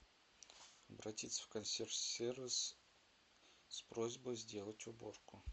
обратиться в консьерж сервис с просьбой сделать уборку